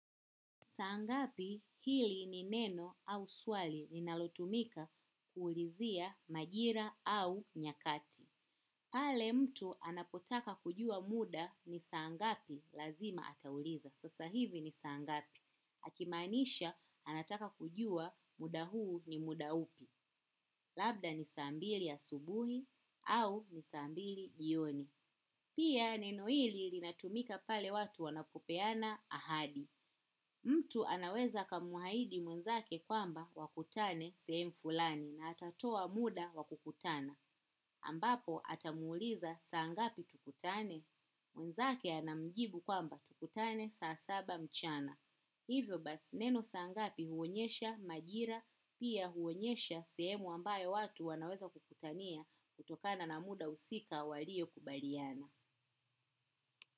Saa ngapi, hili ni neno au swali linalotumika kuulizia majira au nyakati. Pale mtu anapotaka kujua muda ni saa ngapi lazima atauliza. Sasa hivi ni saa ngapi. Akimaanisha anataka kujua muda huu ni muda upi. Labda ni saa mbili asubuhi au ni saa mbili jioni. Pia neno hili linatumika pale watu wanapopeana ahadi. Mtu anaweza akamahidi mwenzake kwamba wakutane sehemu fulani na atatoa muda wa kukutana. Ambapo atamuuliza saa ngapi tukutane. Mwenzake anamjibu kwamba tukutane saa saba mchana. Hivyo basi neno saa ngapi huonyesha majira pia huonyesha sehemu ambayo watu wanaweza kukutania kutokana na muda husika waliokubaliana.